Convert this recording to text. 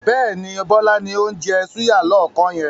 Bẹ́ẹ̀ni, Bọlá ni ó ń jẹ́ súyà lọ́ọ̀kan yẹn.